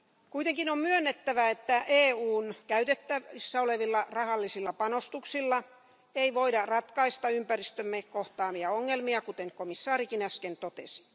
Kuitenkin on myönnettävä, että EUn käytettävissä olevilla rahallisilla panostuksilla ei voida ratkaista ympäristömme kohtaamia ongelmia, kuten komissaarikin äsken totesi.